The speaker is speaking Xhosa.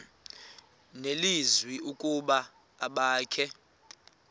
nelizwi ukuba abakhe